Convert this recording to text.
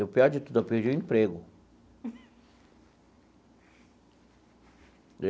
E, o pior de tudo, eu perdi o emprego.